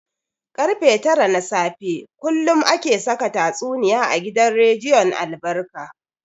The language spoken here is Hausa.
Karfe tara na safe kullum ake saka tatsuniya a gidan rediyon albarka.